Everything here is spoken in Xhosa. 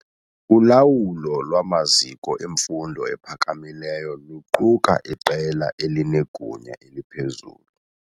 Ulawulo lwamaziko emfundo ephakamileyo luquka iqela elinegunya eliphezulu.